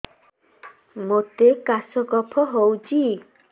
ମୋତେ କାଶ କଫ ହଉଚି